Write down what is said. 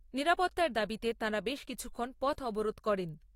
নিরাপত্তার দাবিতে তাঁরা বেশ কিছুক্ষণ পথ অবরোধ করেন।